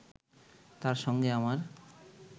তাঁর সঙ্গে আমার